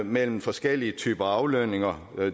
mellem forskellige typer af aflønninger